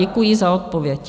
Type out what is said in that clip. Děkuji za odpověď.